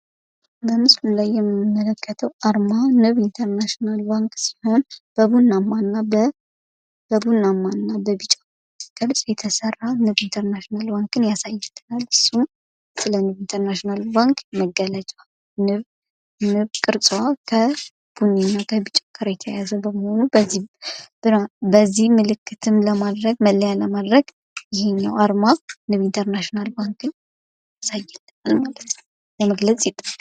በምስሉ ላይ የምንመለከተው አርማ ንብ ኢንተርናሽናል ባንክ ሲሆን በቡናማ እና በቢጫ ቅርፅ የተሰራ ንብ ኢንተርናሽናል ባንክን ያሳያል። እሱም ስለ ንብ ኢንተርናሽናል ባንክ መገለጫ ንብ ቅርጿ ከቡኒ እና ከቢጫ ጋር የተያያዘ በመሆኑ በዚህ ምልክትም ለማድረግ መለያ ለማድረግ ይሄኛው አርማ ንብ ኢንተርናሽናል ባንክን ያሳየናል ማለት ነው። ለመግለጽ ይጠቅማል።